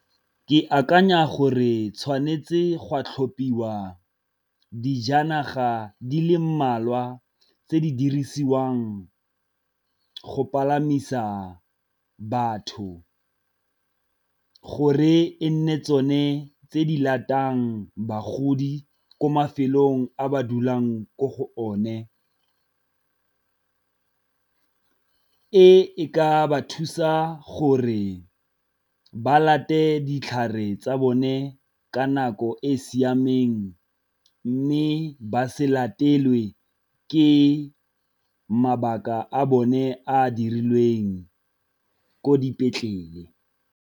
Ke akanya gore tshwanetse gwa tlhophiwa dijanaga di le mmalwa tse di dirisiwang go palamisa batho, gore e nne tsone tse di bagodi ko mafelong a ba dulang ko go one. E e ka ba thusa gore ba ditlhare tsa bone ka nako e e siameng mme ba se latelwe ke mabaka a bone a dirilweng ko dipetlele.